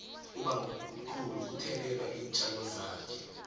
ubamkhulu uthelelela iintjalo zakhe